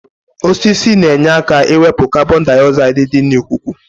Osisi na-enye aka ịwepụ kabọndaịozaịdị dị n'ikuku.